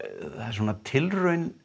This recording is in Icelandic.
svona tilraun